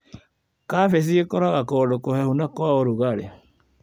Kabeci ĩkũraga kũndũ kũhehu na kwa ũrugarĩ.